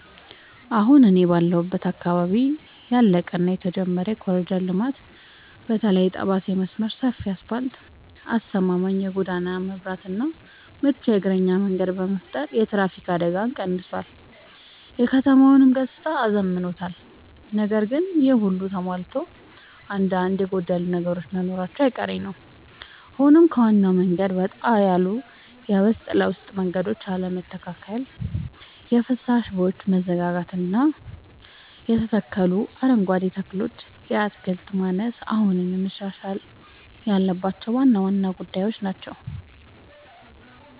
አሁን እኔ ባለሁበት አካባቢ ያለቀ እና የተጀመረ የኮሪደር ልማት (በተለይ የጠባሴ መስመር) ሰፊ አስፋልት: አስተማማኝ የጎዳና መብራትና ምቹ የእግረኛ መንገድ በመፍጠር የትራፊክ አደጋን ቀንሷል: የከተማዋንም ገጽታ አዝምኗል። ነገር ግን ይሄ ሁሉ ተሟልቶ አንዳንድ የጎደሉ ነገሮች መኖራቸው አይቀሬ ነዉ ሆኖም ከዋናው መንገድ ወጣ ያሉ የውስጥ ለውስጥ መንገዶች አለመስተካከል: የፍሳሽ ቦዮች መዘጋጋትና የተተከሉ አረንጓዴ ተክሎች የክትትል ማነስ አሁንም መሻሻል ያለባቸው ዋና ዋና ጉዳዮች ናቸው።